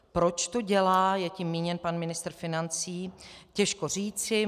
Proč to dělá - je tím míněn pan ministr financí - těžko říci.